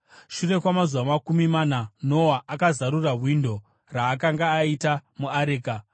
Shure kwamazuva makumi mana, Noa akazarura windo raakanga aita muareka,